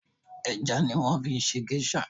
Ẹja ni wọ́n fi ṣe gẹ́ṣà